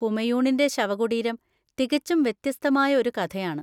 ഹുമയൂണിന്റെ ശവകുടീരം തികച്ചും വ്യത്യസ്തമായ ഒരു കഥയാണ്.